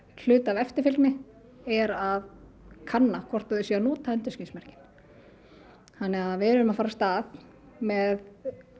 hluta af eftirfylgni er að kanna hvort þau séu að nota endurskinsmerkin þannig að við erum að fara af stað með